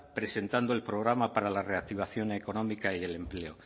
presentando el programa para la reactivación económica y el empleo